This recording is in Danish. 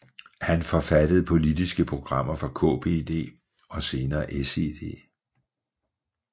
Han forfattede politiske programmer for KPD og senere SED